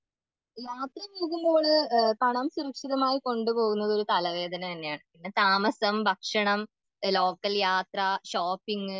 യാത്ര ചെയ്യുംബോഴ് പണം സുരക്ഷിതമായി കൊണ്ടുപോകുന്നത് തലവേദന തന്നെയാണ്, പിന്നെ താമസം ഭക്ഷണം ലോക്കൽയാത്ര ഷോപ്പിങ്